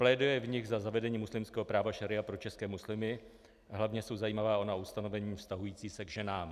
Pléduje v nich za zavedení muslimského práva šaría pro české muslimy, hlavně jsou zajímavá ona ustanovení vztahující se k ženám.